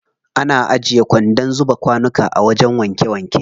Ana ajiye kwandon zuba kwanuka a wajen wanke wanke.